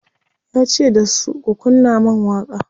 yace dasu "ku kunna man waƙa!"